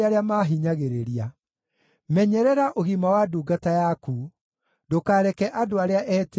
Menyerera ũgima wa ndungata yaku; ndũkareke andũ arĩa etĩĩi maahinyĩrĩrie.